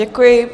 Děkuji.